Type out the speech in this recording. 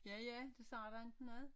Ja ja det siger dig ikke noget?